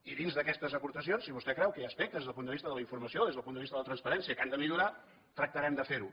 i dins d’aquestes aportacions si vostè creu que hi ha aspectes des del punt de vista de la informació des del punt de vista de la transparència que han de millorar tractarem de fer ho